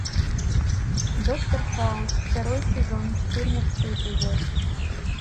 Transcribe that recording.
доктор хаус второй сезон четырнадцатый эпизод